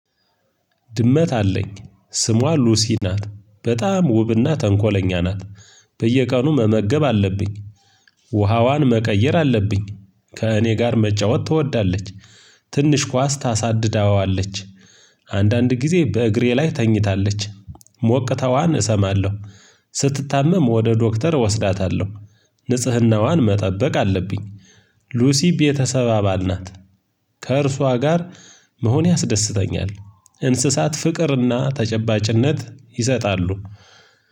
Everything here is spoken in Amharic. ድመት አለኝ። ስሟ ሉሲ ናት። በጣም ውብና ተንኮለኛ ናት። በየቀኑ መመገብ አለብኝ። ውሃዋን መቀየር አለብኝ። ከእኔ ጋር መጫወት ትወዳለች። ትንሽ ኳስ ታሳድዳዋለች። አንዳንድ ጊዜ በእግሬ ላይ ተኝታለች። ሞቅታዋን እሰማለሁ። ስትታመም ወደ ዶክተር እወስዳታለሁ። ንጽህናዋን መጠበቅ አለብኝ። ሉሲ ቤተሰብ አባል ናት። ከእርሷ ጋር መሆን ያስደስተኛል። እንስሳት ፍቅርና ተጨባጭነት ይሰጣሉ።